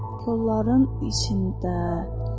Kolların içində.